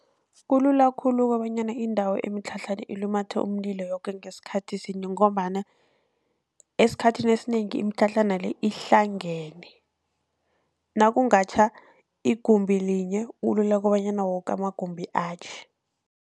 Kulula khulu kobanyana indawo emitlhatlhana ilumathe umlilo yoke ngesikhathi sinye, ngombana esikhathini esinengi imitlhatlhana le ihlangene nakungatjha igumbi linye kulula kobanyana woke amagumbi atjhe.